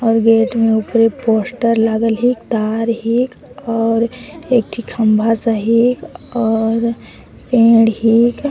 और गेट में ऊपरे पोस्टर लागल हिक तार हिक और एकठी खम्भा सा हिक और पेड़ हिक।